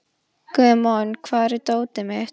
Guðmon, hvar er dótið mitt?